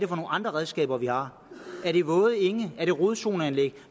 andre redskaber vi har er det våde enge er det rodzoneanlæg